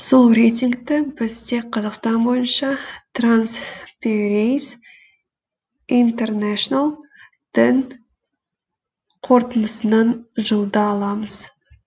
сол рейтингті біз тек қазақстан бойынша тарнсперейс интернешл дің қорытындысынан жылда аламыз